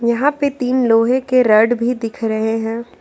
यहां पे तीन लोहे के रॉड भी दिख रहे हैं।